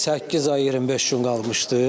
Səkkiz ay 25 gün qalmışdı.